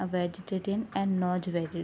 a vegetarian and non veg --